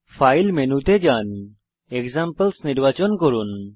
file মেনুতে যান examples নির্বাচন করুন